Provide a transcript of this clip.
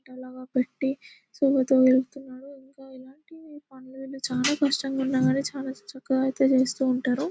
ఇలాంటి పనులు చాలా కష్టంగా ఉన్నప్పటికీ చాలా చక్కగా అయితే చేస్తుంటారు.